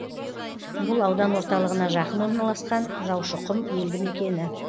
бұл аудан орталығына жақын орналасқан жаушықұм елді мекені